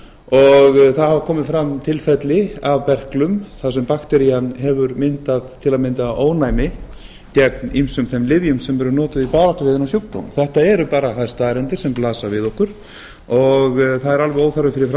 og það hafa komið fram tilfelli f berklum þar sem bakterían hefur myndað til að mynda ónæmi gegn ýmsum þeim lyfjum sem eru notuð í baráttunni við þennan sjúkdóm þetta eru bara þær staðreyndir sem blasa við okkur það er alveg óþarfi fyrir